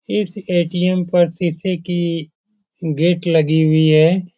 इस ए.टी.एम. पर शीशे की गेट लगी हुई है।